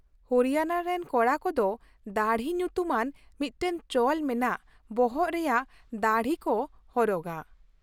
ᱦᱚᱨᱤᱭᱟᱱᱟ ᱨᱮᱱ ᱠᱚᱲᱟ ᱠᱚᱫᱚ ᱫᱟᱹᱲᱦᱤ ᱧᱩᱛᱩᱢᱟᱱ ᱢᱤᱫᱴᱟᱝ ᱪᱚᱞ ᱢᱮᱱᱟᱜ ᱵᱚᱦᱚᱜ ᱨᱮᱭᱟᱜ ᱫᱟᱹᱲᱦᱤ ᱠᱚ ᱦᱚᱨᱚᱜᱟ ᱾